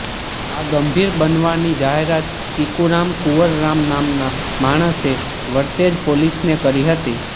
આ ગંભીર બનાવની જાહેરાત ચીકુરામ કુંવરરામ નામના માણસે વરતેજ પોલીસને કરી હતી